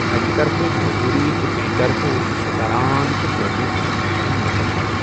اکہِ طرفہٕ موٚضوٗرۍ تہٕ بیٚیہِ طرفہٕ اوسُس پران تہِ کٔر مےٚ گریجویشن مکمل۔